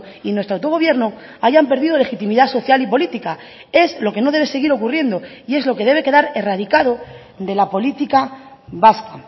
y nuestro autogobierno hayan perdido legitimidad social y política es lo que no debe seguir ocurriendo y es lo que debe quedar erradicado de la política vasca